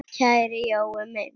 Kæri Jói minn!